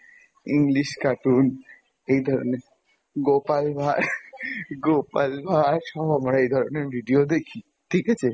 English cartoon এই ধরনের, গোপাল ভাঁড় গোপাল ভাঁড় সহ মানে এই ধরনের video দেখি ঠিক আছে?